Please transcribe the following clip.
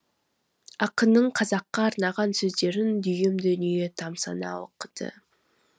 ақынның қазаққа арнаған сөздерін дүйім дүние тамсана оқыды